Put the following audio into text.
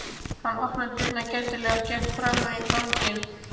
Hann opnaði dyrnar gætilega og gekk fram á ganginn.